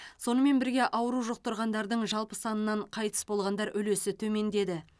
сонымен бірге ауру жұқтырғандардың жалпы санынан қайтыс болғандар үлесі төмендеді